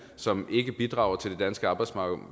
som ikke bidrager til det danske arbejdsmarked